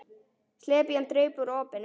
Slepjan draup úr opinu.